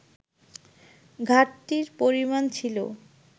ঘাটতির পরিমাণ ছিল